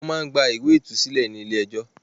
Wọ́n máá ń gba ìwé ìtúsílẹ̀ ni ilé ẹjọ́